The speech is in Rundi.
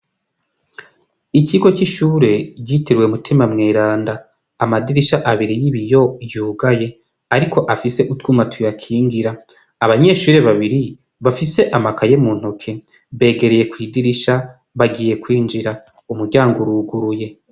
Ikigo c'ishure yitiruwe umutima mweranda amadirisha abiri y'ibi yo yugaye, ariko afise utwumatuye akingira abanyeshure babiri bafise amakaye mu ntoke begereye kw'idirisha bagiye kwinjira umuryango uruguruye.